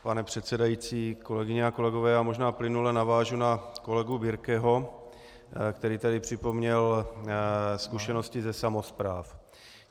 Pane předsedající, kolegyně a kolegové já možná plynule navážu na kolegu Birkeho, který tady připomněl zkušenosti ze samospráv.